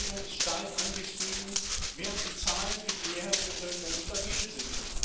Ausbildung ist stark angestiegen, während die Zahlen für die Mehrheitsbevölkerung stabil sind.